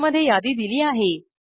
आतमध्ये यादी दिली आहे